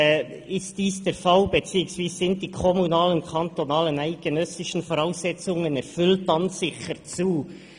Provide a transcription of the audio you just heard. «Ist dies der Fall» beziehungsweise «sind die kommunalen, kantonalen und eidgenössischen Voraussetzungen erfüllt, [...]», dann «sichert [...